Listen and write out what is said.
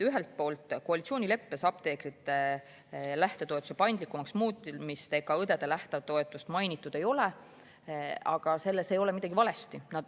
Ühelt poolt koalitsioonileppes apteekrite lähtetoetuse paindlikumaks muutmist ega õdede lähtetoetust mainitud ei ole, aga selles ei ole midagi valesti.